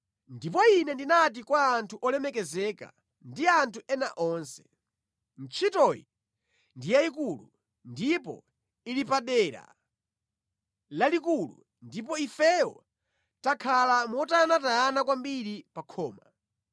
Ndipo ine ndinati kwa anthu olemekezeka ndi anthu ena onse, “Ntchitoyi ndi yayikulu ndipo ili padera lalikulu ndipo ifeyo takhala motayanatayana kwambiri pa khoma.